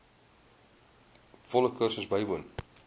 volle kursus bywoon